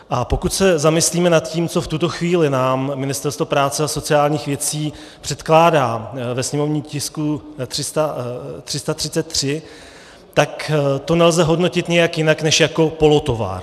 A pokud se zamyslíme nad tím, co v tuto chvíli nám Ministerstvo práce a sociálních věcí předkládá ve sněmovním tisku 333, tak to nelze hodnotit nijak jinak než jako polotovar.